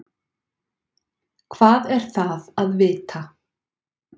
Hvað er það að vita?